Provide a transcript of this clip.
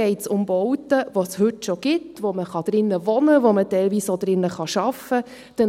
Den einen geht es um Bauten, die es heute schon gibt, in denen man wohnen kann, in denen man teilweise auch arbeiten kann.